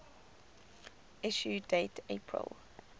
issue date april